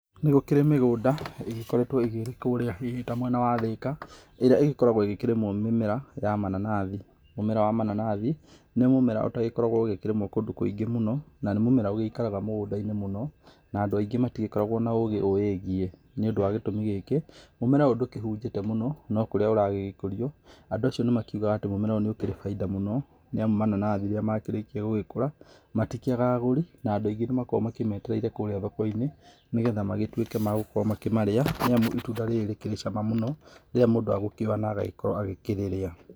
Nĩ gũkĩrĩ mĩgũnda ĩgĩkoretũo kũrĩa hihi ta mwena wa Thika ĩrĩa ĩgĩkoragũo ĩgĩkĩrĩmũo mĩmera ya mananathi. Mũmera wa mananathi, nĩ mũmera ũtagĩkoragũo ũgĩkĩmera kũndũ kũingĩ mũno na nĩ mũmera ũgĩikaraga mũgũndainĩ mũno na andũ aingĩ matigĩkoragũo na ũgĩ ũwĩgiĩ nĩ ũndũ wa gĩtũmi gĩkĩ, mũmera ũyũ ndũkĩhunjĩte mũno, no kũrĩa ũragĩgĩkũrio andũ acio nĩmakiugaga atĩ mũmera ũyũ nĩ ũkĩrĩ baida mũno nĩ amu mananathi rĩrĩa makĩrĩkia gũgĩkũra matikiagaga agũri na andũ aingĩ nĩmagĩkoragũo makĩmetereirekũrĩa thokoinĩ nĩgetha magĩtuĩke ma gũkorũo makĩmarĩa nĩ amu itunda rĩrĩ nĩ rĩkĩrĩ cama mũno rĩríĩa mũndũ agũkĩoya na agakorũo agĩkĩrĩrĩa.